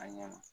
A ɲɛ ma